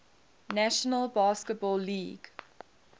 national basketball league